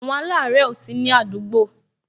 Àwọn alare ó sini àdúgbò